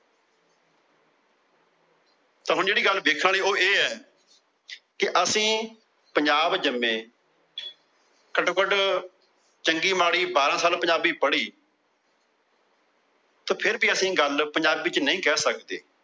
ਤਾਂ ਹੁਣ ਜਿਹੜੀ ਗੱਲ ਵੇਖਣ ਵਾਲੀ ਉਹ ਇਹ ਏ। ਕਿ ਅਸੀਂ ਪੰਜਾਬ ਜੰਮੇ। ਘਟੋ ਘਟ ਚੰਗੀ ਮਾੜੀ ਬਾਰਾਂ ਸਾਲ ਪੰਜਾਬੀ ਪੜੀ। ਤੇ ਫਿਰ ਵੀ ਅਸੀਂ ਗੱਲ ਪੰਜਾਬੀ ਚ ਨਹੀਂ ਕਹਿ ਸਕਦੇ।